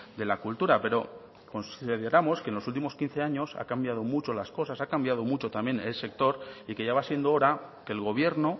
de la cultura pero consideramos que en los últimos quince años ha cambiado mucho las cosas ha cambiado también mucho también el sector y que ya va siendo hora que el gobierno